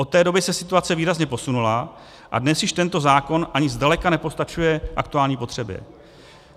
Od té doby se situace výrazně posunula a dnes již tento zákon ani zdaleka nepostačuje aktuální potřebě.